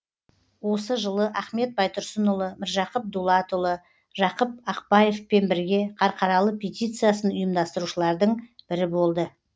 осы жылы ахмет байтұрсынұлы міржақып дулатұлы жақып ақбаевпен бірге қарқаралы петициясын ұйымдастырушылардың бірі болды